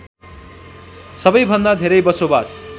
सबैभन्दा धेरै बसोबास